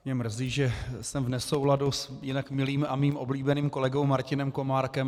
Mě mrzí, že jsem v nesouladu s jinak milým a svým oblíbeným kolegou Martinem Komárkem.